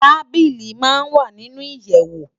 Tábìlí má n wá ninú iyèwó